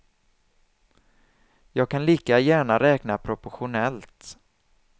Jag kan lika gärna räkna proportionellt.